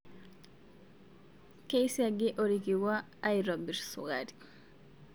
Kisiagii orkikuaa aitobir sukari